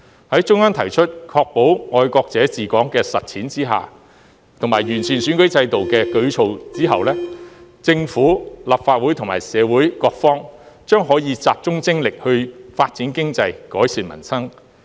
在中央提出在確保"愛國者治港"的實踐下，以及作出完善選舉制度的舉措後，政府、立法會和社會各方將可集中精力發展經濟、改善民生。